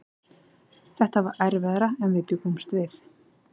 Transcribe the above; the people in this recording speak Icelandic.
Þetta var erfiðara en við bjuggumst við.